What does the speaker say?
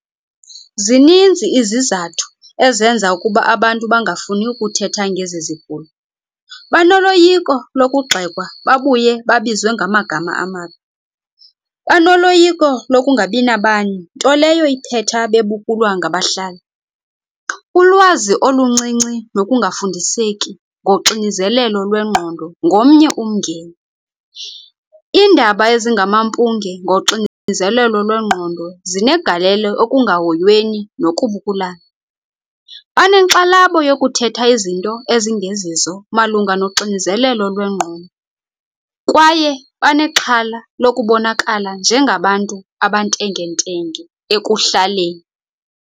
Zininzi izizathu ezenza ukuba abantu bangafuni ukuthetha ngezi zigulo. Banoloyika lokugxekwa babuye babizwe ngamagama amabi, banoloyiko lokungabinabani nto leyo iphetha bebukulwa ngabahlali. Ulwazi oluncinci nokungafundiseki ngoxinizelelo lwengqondo ngomnye umngeni. Iindaba ezingamampunge ngoxinizelelo lwengqondo zinegalelo ekungahoyweni nokubukulana. Banenkxalabo yokuthetha izinto ezingezizo malunga noxinizelelo lwengqondo kwaye banexhala lokubonakala njengabantu abantengentenge ekuhlaleni.